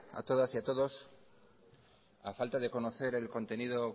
a todas y a todos a falta de conocer el contenido